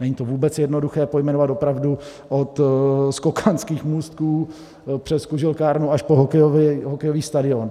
Není to vůbec jednoduché pojmenovat, opravdu, od skokanských můstků přes kuželkárnu až po hokejový stadion.